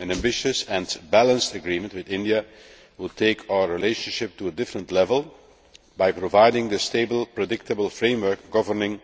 An ambitious and balanced agreement with India would take our relationship to a different level by providing a stable, predictable framework governing